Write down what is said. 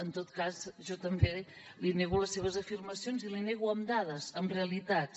en tot cas jo també li nego les seves afirmacions i les hi nego amb dades amb realitats